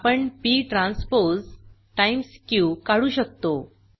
आपण p transpose times q काढू शकतो